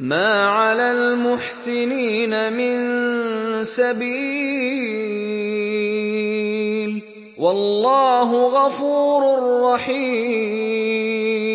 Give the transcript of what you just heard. مَا عَلَى الْمُحْسِنِينَ مِن سَبِيلٍ ۚ وَاللَّهُ غَفُورٌ رَّحِيمٌ